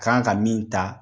Kan ka min ta